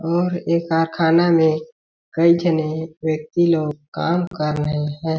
और ये कारखाना में कई झने व्यक्ति लोग काम कर रहे है।